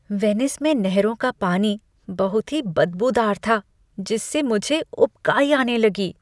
Venice में नहरों का पानी बहुत ही बदबूदार था जिससे मुझे उबकाई आने लगी।